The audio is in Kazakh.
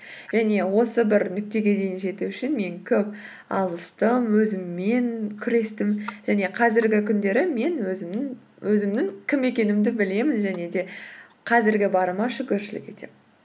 және осы бір нүктеге дейін жету үшін мен көп алыстым өзіммен күрестім және қазіргі күндері мен өзімнің кім екенімді білемін және де қазіргі барыма шүкіршілік етемін